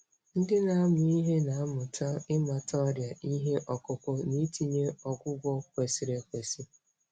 Ndị na-amụ ihe na-amụta ịmata ọrịa ihe ọkụkụ na itinye ọgwụgwọ kwesịrị ekwesị.